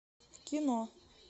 кино